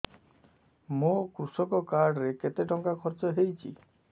ମୋ କୃଷକ କାର୍ଡ ରେ କେତେ ଟଙ୍କା ଖର୍ଚ୍ଚ ହେଇଚି